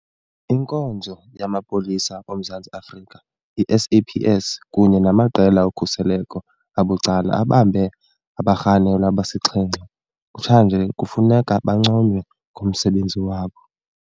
Inkonzo yamaPolisa oMzantsi Afrika, i-SAPS, kunye namaqela okhuseleko abucala abambe abarhanelwa abasixhenxe kutshanje kufuneka banconywe ngomsebenzi wabo.